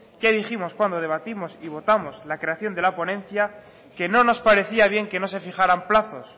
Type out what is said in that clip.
ya dijimos cuando debatimos y votamos la creación de la ponencia que no nos parecía bien que no se fijaran plazos